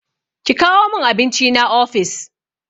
Ki kawo min abincina ofis!